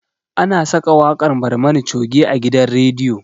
Ana saka waƙar barmani coge a gidan rediyo